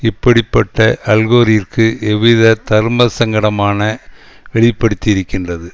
இப்படி பட்ட அல்கோரிற்கு எவ்வித தர்மசங்கடமான வெளிப்படுத்தியிருக்கின்றது